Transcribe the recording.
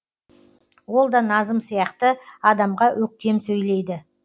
ол да назым сияқты адамға өктем сөйлейді